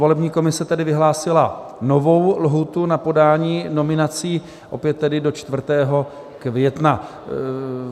Volební komise tedy vyhlásila novou lhůtu na podání nominací, opět tedy do 4. května.